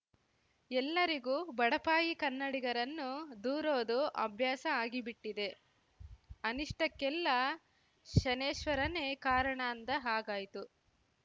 ಎಲ್ಲರಿಗೂ ಬಡಪಾಯಿ ಕನ್ನಡಿಗರನ್ನು ದೂರೋದು ಅಭ್ಯಾಸ ಆಗಿಬಿಟ್ಟಿದೆ ಅನಿಷ್ಟಕ್ಕೆಲ್ಲ ಶನೇಶ್ವರನೇ ಕಾರಣ ಅಂದ ಹಾಗಾಯ್ತು